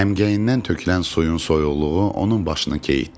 Əmgəyindən tökülən suyun soyuqluğu onun başını keyitdi.